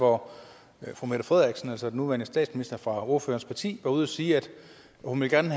hvor fru mette frederiksen altså den nuværende statsminister fra ordførerens parti var ude at sige at hun gerne